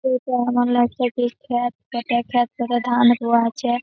এই টা এমন লাগছে কি ক্ষাত। ক্ষাতের ক্ষাত থেকে ধান রুয়া আছে --